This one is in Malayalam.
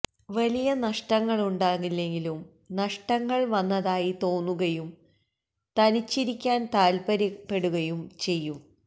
വലിയ നഷ്ടങ്ങളുണ്ടാകില്ലെങ്കിലും നഷ്ടങ്ങള് വന്നതായി തോന്നുകയും തനിച്ചിരിയ്ക്കാന് താല്പര്യപ്പെടുകയും ചെയ്യും